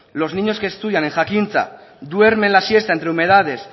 los niños que estudian en jakintza duermen la siesta entre humedades